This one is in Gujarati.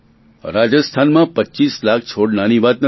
રાજસ્થાનમાં પચીસ લાખ છોડ નાની વાત નથી